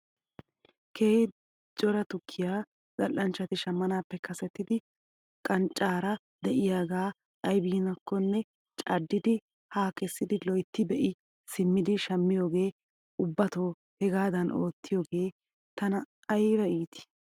Keehi cora tukkiyaa zal'anchchati shamanaappe kasetidi qanccaara de'iyaagaa aybinkkonne caddidi haa kessidi loytti be'i simmidi shammiyoogee ubbato hegaadan oottiyoogee tana ayba iitii